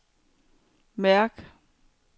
mærk